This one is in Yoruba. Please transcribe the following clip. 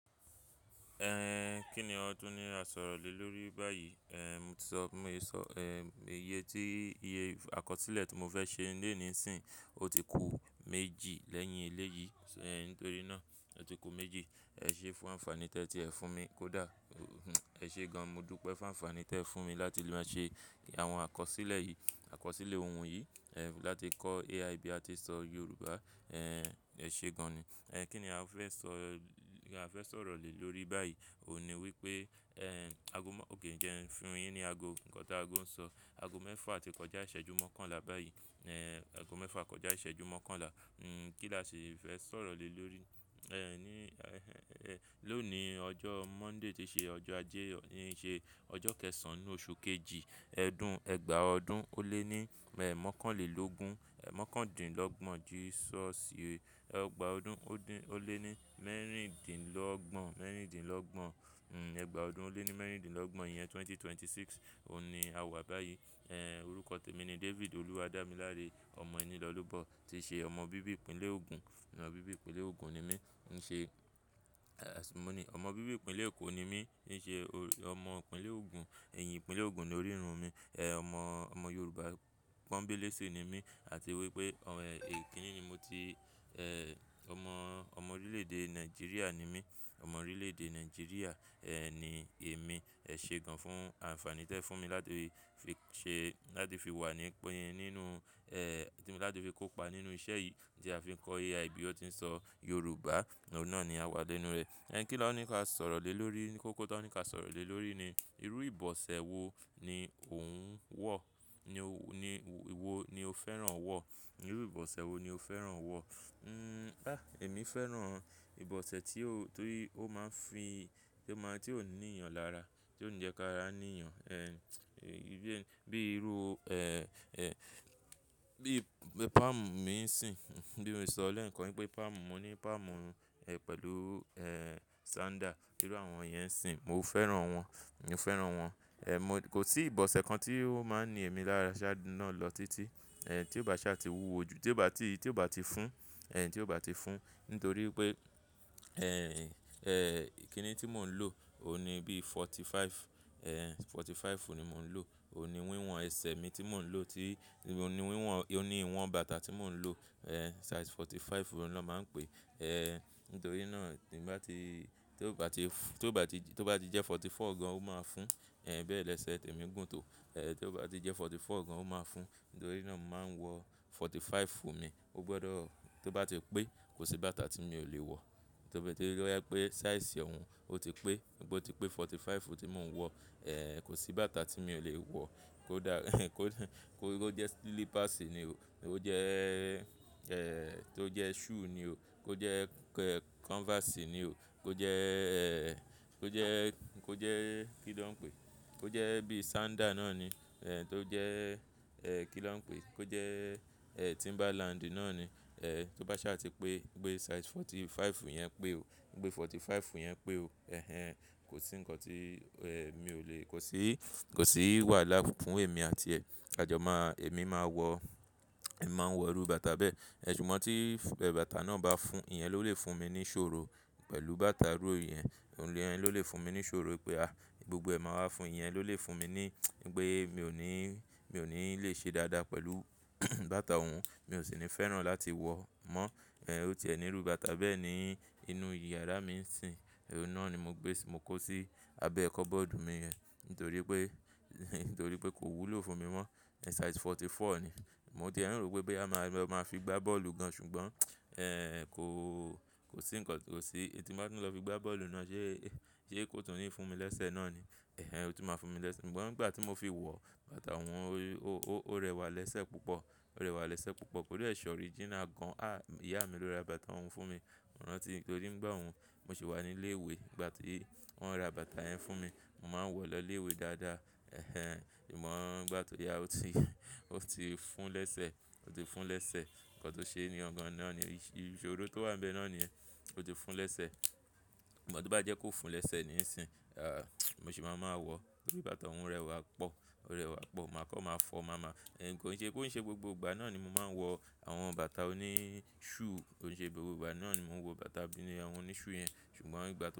Ẹn, kí ni won tun ní a sọ̀rọ̀ lé lórí báyìí? Ẹn, mo ti sọ, bi mo se sọ, ẹm, iye tí, iye àkọsílẹ̀ tí mo fẹ́ ṣe ní eni nisinyi, ó ti ku méjì lẹ́yìn eléyìí, ẹ nítorí náà, ó ti ku méjì. Ẹ ṣe é fún ànfàní tẹ́ tí ẹ fún mi, kò dá. Ẹ ṣe gan, mo dúpẹ́ fún ànfàní tẹ́ fún mi láti lè máa ṣe àwọn àkọsílẹ̀ yìí, àkọsílẹ̀ ohùn yìí, ẹ láti kọ́ AI bí a ti ń sọ Yorùbá, ẹ́n, ẹ ṣe gan ni. Ẹn, kí ni a fẹ́ sọ, a fẹ́ sọ̀rọ̀ lé lórí báyìí? Óun ní wípé, ẹ́n, ago mọ́, òkè ń jẹ́ ẹ́, ń fun yín ní ago, nǹkan tá ago ń sọ. Ago mẹ́fà àti kọjá ìṣẹ́jú mọ́kànlá báyìí. Ẹ́n, ago mẹ́fà kọjá ìṣẹ́jú mọ́kànlá. N, kí la ṣe fẹ́ sọ̀rọ̀ lé lórí? Ẹ́n, ní, ẹ́n, lónìí ọjọ́ Monday tí ṣe ọjọ́ ajé, ní ṣe ọjọ́ kẹ́ẹ̀sàn-án ní oṣù kejì, ẹdún ẹgbàá ọdún, ó lé ní mẹ́ẹ̀ mọ́kànlélógún, ẹ́ mọ́kándínlọ́gbọ̀n, Jesus ye. Ẹgbàá ọdún ó dín, ó lé ní mẹ́rìndínlọ́gbọ̀n, mẹ́rìndínlọ́gbọ̀n. N, ẹgbàá ọdún ó lé ní mẹ́rìndínlọ́gbọ̀n iyẹn, 2026, òun ni a wà báyìí. Ẹ́n, orúkọ tèmi ni David Oluwadamilare, ọmọ Ìnilọ́lùbọ́, tí ṣe ọmọ bíbí ìpínlẹ̀ Ogun, ọmọ bíbí ìpínlẹ̀ Ogun ni mí. N ṣe, ẹ́, àṣímùni, ọmọ bíbí ìpínlẹ̀ Èkó ni mí, ní ṣe ọmọ ìpínlẹ̀ Ogun, èyìn ìpínlẹ̀ Ogun ni orí irun mi. Ẹ̀, ọmọ, ọmọ Yorùbá pọ́nbélé ṣi ni mí. Àti wípé, ọ̀n, èyí kínì ni mo ti, ẹ́, ọmọ, ọmọ orílẹ̀ èdè Nigeria ni mí. Ọmọ orílẹ̀ èdè Nigeria, ẹ́, ni èmi. Ẹ ṣe gan fún ànfàní tẹ́ fún mi láti fi ṣe, láti fi wà ní, po yi nínú, ẹ́, tí mo láti fi kópa nínú iṣẹ́ yìí tí a fi ń kọ́ AI bí ó ti ń sọ Yorùbá. Òun náà ni a wà lenu rẹ̀. Ẹ́n, kí lọ́ ní ká sọ̀rọ̀ lé lórí, kó kó tá ní ká sọ̀rọ̀ lé lórí ni, irú ìbọ̀sẹ̀ wo ni òun wọ̀? Ni o, ni wo ni o fẹ́ràn wọ̀? Irú ìbọ̀sẹ̀ wo ni o fẹ́ràn wọ̀? N, dá! Èmi fẹ́ràn ìbọ̀sẹ̀ tí ó, ti ó máa ń fi, tí ó máa, tí ò níyàn lára, tí ò ní jẹ́ kí ara níyàn. Ẹ́n, bí irú, ẹ́, ẹ́, bí palm mí ń sìn. Bí mo ti sọ lẹ́ẹ̀kan wípé palm, mo ní palm, ẹ pẹ̀lú, ẹ́, sandal. Irú àwọn yẹn ń sìn. Mo fẹ́ràn wọ́n, mo fẹ́ràn wọ́n. Ẹ̀, mo, kò sí ìbọ̀sẹ̀ kan tí ó máa ń ni èmi lára sá náà lọ títí. Ẹ̀, tí ò bá ṣa ti wúwo ju, tí ò bá ti, tí ò bá ti fún, ẹ́n, tí ò bá ti fún. Nítorí pé, ẹ́n, ẹ́, kí ni tí mò ń lò? Ó ní bí forty-five, ẹ́, forty-five ni mò ń lò. Óun ní wíwọ̀n ẹsẹ̀ mi tí mò ń lò ti, ó ní wíwọ̀n, ó ní ìwọ̀n bàtà tí mò ń lò, ẹ́, size forty-five òun lọ́ máa ń pè é. Ẹ́, nítorí náà tí bá ti, tí ó bá ti, tí ó bá ti, tí ó bá ti jẹ́ forty-four gan, ó máa fún. Ẹ̀ẹ́, bẹ́ẹ̀ lẹ́sẹ̀ tèmi gùn tó. Ẹ̀ẹ́, tí ó bá ti jẹ́ forty-four gan, ó máa fún. Nítorí náà mo máa ń wọ forty-five fún mi. Ó gbọdọ̀, tí ó bá ti pé, kò sí bàtà tí mi ò lè wọ̀. Tí ó bá ti rí pé size òun ó ti pé, bó ti pé forty-five tí mò ń wọ, ẹ́, kò sí bàtà tí mi ò lè wọ̀. Kò dá, kò jẹ́ slippers ni o. Kò jẹ́, ẹ́, tó jẹ́ shoe ni o. Kò jẹ́, kẹ́, canvas ni o. Kò jẹ́, ẹ́, kò jẹ́, kò jẹ́ kí ló ń pé Kò jẹ́ bí sandal náà ni. Ẹ́, tó jẹ́, ẹ́, kí ló ń pé? Kò jẹ́, ẹ́, Timberland náà ni. Ẹ́, tó bá ṣa ti pé, pé size forty-five yẹn pé o, pé forty-five yẹn pé o. Ẹ̀hẹn, kò sí nǹkan tí, ẹ́, mi ò lè, kò sí, kò sí wàhálà fún èmi àti ẹ̀. Àjọ máa, èmi máa wọ̀, èmi máa ń wọ irú bàtà bẹ́ẹ̀. Ẹ̀, ṣùgbọ́n tí, ẹ́, bàtà náà bá fún, ìyẹn ló lè fún mi ní iṣòro pẹ̀lú bàtà irú ìyẹn. Òun ló lè fún mi ní iṣòro pé, a, gbogbo ẹ̀ máa wá fún ìyẹn ló lè fún mi ní, pé mi ò ní, mi ò ní lè ṣe dáadáa pẹ̀lú bàtà òun. Mi ò sì ní fẹ́ràn láti wọ̀ mọ́. Ẹ̀, ó ti ẹ̀ ní irú bàtà bẹ́ẹ̀ ní inú yàrá mi ń sìn. Òun náà ni mo gbé sí, mo kó sí abẹ́ kọ́bọ́ọ̀dù mi rẹ. Nítorí pé, nítorí pé kò wúlò fún mi mọ́. Size forty-four ni. Mo tie n rò pé, boya máa lo maa fi gbá bọ́ọ̀lù gan, ṣùgbọ́n, ẹ́, kò, kò sí nǹkan, kò sí, tí n ba tún lọ fi gbá bọ́ọ̀lù náà ṣe, ṣe kò tún ní fún mi lẹ́sẹ̀ náà ni. Ẹ̀hẹn, ó tun máa fún mi lẹ́sẹ̀. Ṣùgbọ́n nígbà tí mo fi wọ bàtà òun, ó, ó, ó rẹwà lẹ́sẹ̀ púpọ̀. Ó rẹwà lẹ́sẹ̀ púpọ̀. O de se original gan. À, ìyá mi ló ra bàtà òun fún mi. Mo rantí, nítorí ńgbà oun, mo sì wà ní ilé ìwé. Ìgbà tí wọ́n ra bàtà yẹn fún mi, mo máa ń wọ̀ lọ ilé ìwé dáadáa. Ẹ̀hẹn, ṣùgbọ́n ńigbà tó ya ó ti, ó ti fún ún lẹ́sẹ̀, ó ti fún ún lẹ́sẹ̀. Nǹkan tó ṣe ni gan náà ni, ìṣòro tó wà níbẹ̀ náà niye. Ó ti fún ún lẹ́sẹ̀. Ṣùgbọ́n tó bá jẹ́ kó fún ún lẹ́sẹ̀ ni í ń sìn. À, mo sì má maa wọ̀ nítorí bàtà òun rẹwà pọ̀. Ó rẹwà pọ̀. Mà á kọ́ máa fọ́, màá máa. Ẹ̀n, kò ń ṣe, kò ń ṣe gbogbo ìgbà náà ni mo máa ń wọ àwọn bàtà oní shoe. Kò ń ṣe gbogbo ìgbà náà ni mo ń wọ bàtà oní shoe yẹn. Ṣùgbọ́n nígbà tí.